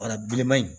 bilenman in